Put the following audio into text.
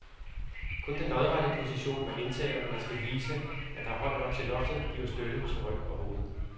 Kun den lodrette position, man indtager, når man skal vise, at der er højt nok til loftet, giver støtte til ryg og hoved.